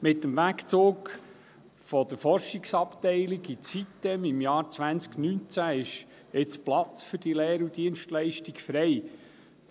Mit dem Wegzug der Forschungsabteilung ins Sitem im Jahre 2019 ist jetzt Platz für die Lehre und Dienstleistung frei geworden.